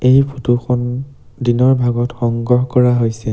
এই ফটো খন দিনৰ ভাগত সংগ্ৰহ কৰা হৈছে।